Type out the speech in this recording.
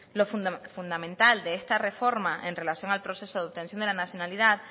lo fundamental de esta reforma en relación al proceso de obtención de la nacionalidad